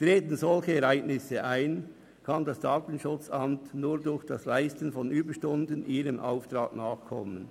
Treten solche Ereignisse ein, kann die DSA nur durch die Leistung von Überstunden ihrem Auftrag nachkommen.